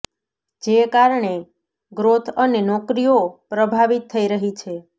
જે કારણે ગ્રોથ અને નોકરીઓ પ્રભાવિત થઈ રહી છે